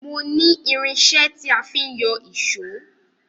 Mo ní irinṣẹ́ tí a fi ń yọ ìṣó